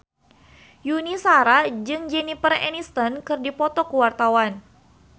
Yuni Shara jeung Jennifer Aniston keur dipoto ku wartawan